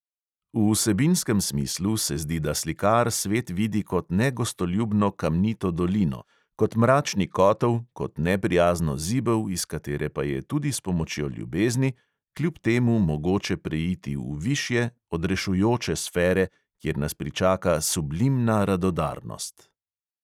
V vsebinskem smislu se zdi, da slikar svet vidi kot negostoljubno kamnito dolino, kot mračni kotel, kot neprijazno zibel, iz katere pa je tudi s pomočjo ljubezni kljub temu mogoče preiti v višje, odrešujoče sfere, kjer nas pričaka "sublimna radodarnost".